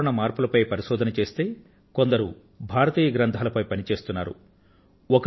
కొందరు వాతావరణ మార్పులపై పరిశోధన చేస్తే కొందరు భారతీయ గ్రంథాలపై పని చేస్తున్నారు